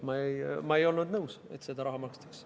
Ma ei olnud nõus, et seda raha makstakse.